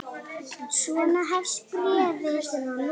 Svona hefst bréfið